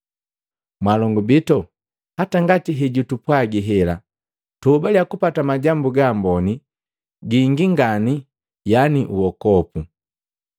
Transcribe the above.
Mwaalongu bitu, hata ngati hetupwaga hela, tuhobale kupata majambu gaamboni gingi ngani yaani uokopu.